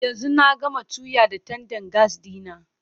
Yanzu na gama tuya da tandan gas ɗina.